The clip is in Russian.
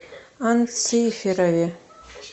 анциферове